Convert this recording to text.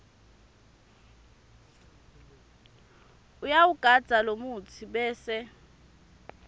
uyawugandza lomutsi bese